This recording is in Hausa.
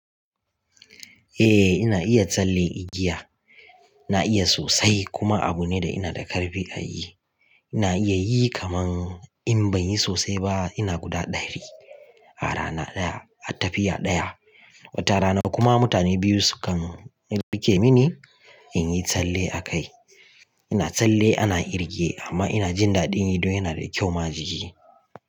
Eh ina iya tsalle igiya. Na iya sosai kuma abu ne da ina da ƙarfi a yi. Ina iya yi kaman in ban yi sosai ba ina guda ɗari a rana ɗaya a tafiya ɗaya. Wata rana kuma mutane biyu su kan rike rikeni ne in yi tsalle a kai. Ina tsalle ana irge amma ina jin daɗin yi don yana da kyau ma jiki.